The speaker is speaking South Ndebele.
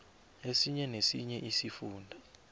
esinye nesinye isifunda